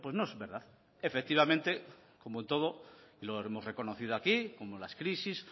no es verdad efectivamente como en todo lo hemos reconocido aquí como las crisis